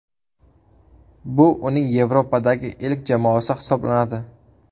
Bu uning Yevropadagi ilk jamoasi hisoblanadi.